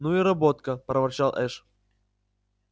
ну и работка проворчал эш